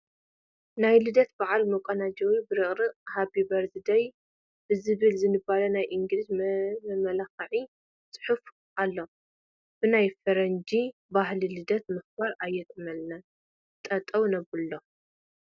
ናይ ልደት በዓል መቆናጀዊ ብርቅሪቕን ሃፒ በርዝ ደይ ብዝብል ዝንበብ ናይ እንግሊዝኛ መመላክዒ ፅሑፍ ኣሎ፡፡ ብናይ ፈረንጂ ባህሊ ልደት ምኽባር ኣየጥዕመልናን፡፡ ጠጠው ነብሎ፡፡